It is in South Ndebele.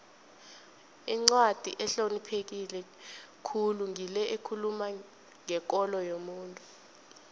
incwadi ehlonipheke khulu ngile ekhuluma ngekolo yomuntu